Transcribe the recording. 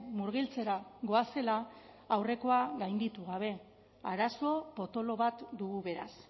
murgiltzera goazela aurrekoa gainditu gabe arazo potolo bat dugu beraz